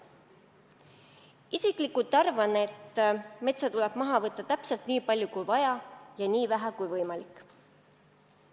Isiklikult arvan, et metsa tuleb maha võtta täpselt nii palju kui vaja ja nii vähe kui võimalik.